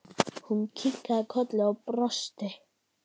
Hún kinkaði kolli og brosti.